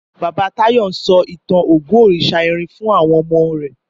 Bàbá Táyọ̀ ń sọ ìtàn Ògún òrìṣà irin fún àwọn omo